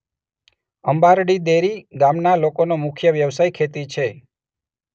અંબારડી દેરી ગામના લોકોનો મુખ્ય વ્યવસાય ખેતી છે.